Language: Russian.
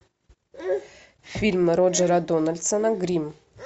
фильм роджера дональдсона гримм